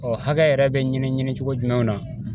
Ɔ hakɛ yɛrɛ be ɲini ɲinicogo jumɛnw na